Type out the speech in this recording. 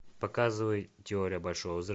показывай теория большого взрыва